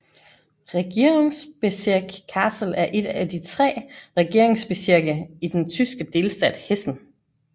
Regierungsbezirk Kassel er et af de tre regierungsbezirke i den tyske delstat Hessen